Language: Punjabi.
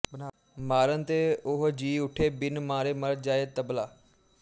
ਮਾਰਨ ਤੇ ਉਹ ਜੀ ਉਠੇ ਬਿਨ ਮਾਰੇ ਮਰ ਜਾਏ ਤਬਲਾ